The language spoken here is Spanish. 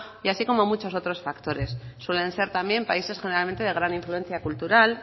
así como muchos otros factores suelen ser también países generalmente de gran influencia cultural